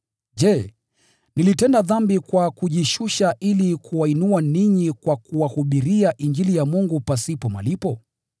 Je, nilitenda dhambi kwa kujishusha ili kuwainua ninyi kwa kuwahubiria Injili ya Mungu pasipo malipo?